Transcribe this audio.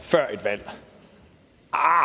så er